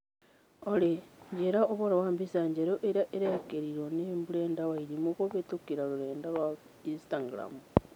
Olly njĩĩra ũhoro wa mbica njerũ ĩrĩa ĩrekĩrirwo nĩ Brenda Wairimu kũhītũkīra rũrenda rũa Instagram